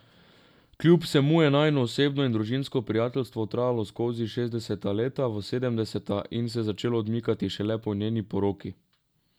Kljub vsemu je najino osebno in družinsko prijateljstvo trajalo skozi šestdeseta leta v sedemdeseta in se začelo odmikati šele po njeni poroki.